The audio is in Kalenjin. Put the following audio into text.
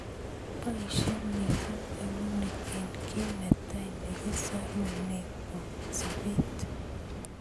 Boishe missing eunek eng ki netai nekisarune sobet.